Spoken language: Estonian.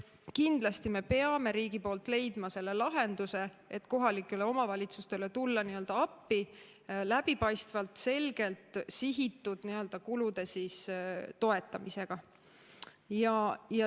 Kindlasti peab riik leidma selle lahenduse, et kohalikele omavalitsustele tulla appi läbipaistvalt, selgelt sihitud kulude toetamisega.